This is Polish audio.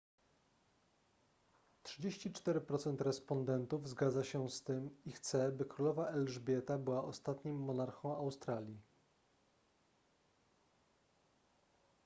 34 procent respondentów zgadza się z tym i chce by królowa elżbieta była ostatnim monarchą australii